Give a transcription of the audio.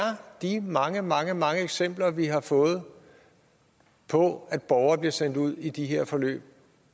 de mange mange mange eksempler vi har fået på at borgere bliver sendt ud i de her forløb